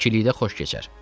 İkilikdə xoş keçər."